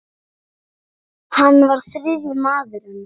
Hann var þriðji maður hennar.